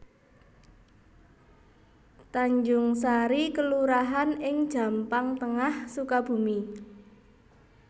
Tanjungsari kelurahan ing Jampang Tengah Sukabumi